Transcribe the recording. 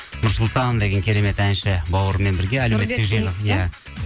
нұрсұлтан деген керемет әнші бауырыммен бірге иә